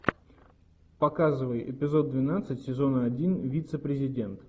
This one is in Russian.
показывай эпизод двенадцать сезона один вице президент